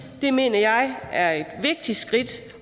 at det mener jeg er et vigtigt skridt